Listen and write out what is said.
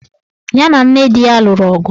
Ya na nne di ya lụrụ ọgụ.